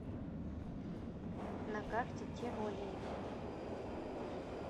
на карте тиролия